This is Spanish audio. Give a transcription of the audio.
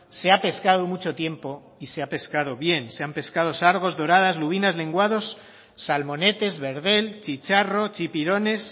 se ha pescado mucho tiempo y se ha pescado bien se han pescado sargos doradas lubinas lenguados salmonetes verdel chicharro chipirones